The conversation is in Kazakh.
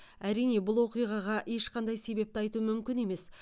әрине бұл оқиғаға ешқандай себепті айту мүмкін емес